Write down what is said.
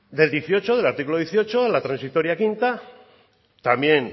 del dieciocho del artículo dieciocho a la transitoria quinta también